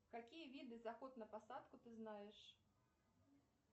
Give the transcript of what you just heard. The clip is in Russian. какие виды заход на посадку ты знаешь